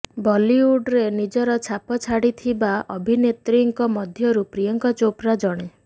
ବଲିଉଡରେ ନିଜର ଛାପ ଛାଡ଼ିଥିବା ଅଭିନେତ୍ରୀଙ୍କ ମଧ୍ୟରୁ ପ୍ରିୟଙ୍କା ଚୋପ୍ରା ଜଣେ